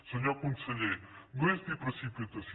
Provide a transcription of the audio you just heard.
senyor conseller no és ni precipitació